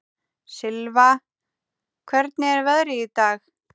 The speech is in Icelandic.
Silfa, hvernig er veðrið í dag?